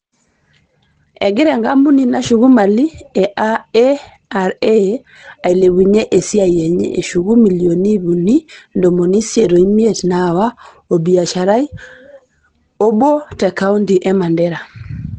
Egirra enkampuni nashuku mali e (ARA) ailepunye esiaai enye eshuku milioni ip uni o ntomomi isiet o imiet naawa olbiashara lee obo te kaonti e Mandera